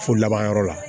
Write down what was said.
So laban yɔrɔ la